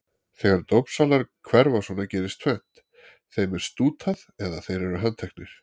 Þegar dópsalar hverfa svona gerist tvennt: Þeim er stútað eða þeir eru handteknir.